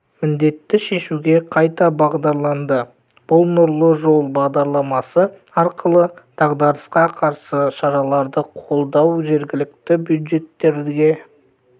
міндетті шешуге қайта бағдарланды бұл нұрлы жол бағдарламасы арқылы дағдарысқа қарсы шараларды қолдау жергілікті бюджеттерге